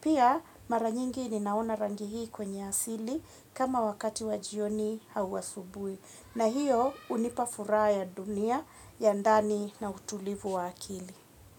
Pia mara nyingi ninaona rangi hii kwenye asili kama wakati wa jioni au asubuhi, na hiyo hunipa furaha ya dunia ya ndani na utulivu wa akili.